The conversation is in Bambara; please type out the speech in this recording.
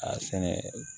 A sɛnɛ